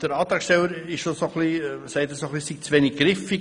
Der Antragsteller sagt, was im Bundesgesetz steht, sei zu wenig griffig.